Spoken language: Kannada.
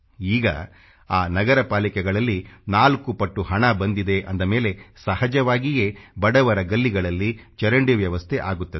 ಈಗ ಆ ನಗರಪಾಲಿಕೆಗಳಲ್ಲಿ 4 ಪಟ್ಟು ಹಣ ಬಂದಿದೆ ಅಂದ ಮೇಲೆ ಸಹಜವಾಗಿಯೇ ಬಡವರ ಗಲ್ಲಿಗಳಲ್ಲಿ ಚರಂಡಿ ವ್ಯವಸ್ಥೆ ಆಗುತ್ತದೆ